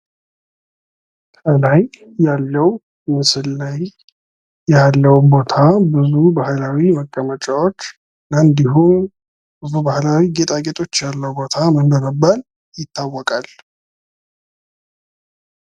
ከላይ ያለው ምስል ላይ ያለው ቦታ ብዙ ባህላዊ መቀመጫዎች እና እንዲሁ ብዙ ባህላዊ ጌጣጌጦች ያሉት ቦታ ምን በመባል ይታወቃል?